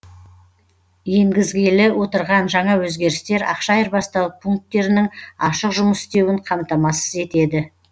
енгізілгелі отырған жаңа өзгерістер ақша айырбастау пунктерінің ашық жұмыс істеуін қамтамасыз етеді